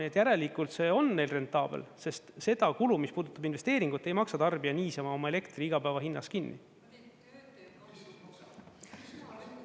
Nii et järelikult see on neil rentaabel, sest seda kulu, mis puudutab investeeringut, ei maksa tarbija niisama oma elektri igapäevahinnas kinni.